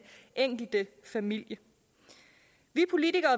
enkelte familie vi politikere